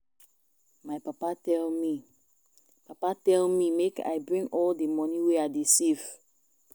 My papa tell me papa tell me make I bring all the money wey I dey save